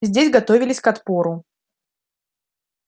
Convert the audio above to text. здесь готовились к отпору